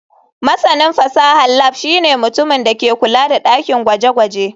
Masanin fasahar lab shine mutumin da ke kula da dakin gwaje-gwaje.